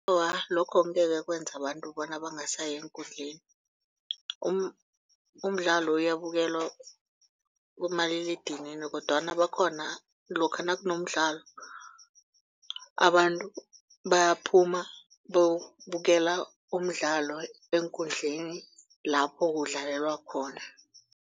Awa, lokho angekhe kwenza abantu bona bangasayi eenkundleni. Umdlalo uyibukelwa kumaliledinini kodwana bakhona lokha nakunomdlalo abantu bayaphuma bayokubukela umdlalo eenkundleni lapho kudlalelwa khona.